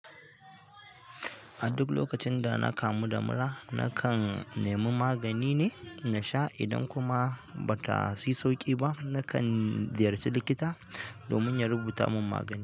A duk lokacin da na kamu da mura, na kan nemi magani ne na sha. Idan kuma ba ta yi sauƙi ba, na kan ziyarci likita domin ya rubuta mun magani.